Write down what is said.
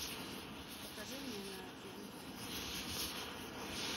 покажи мне на тв е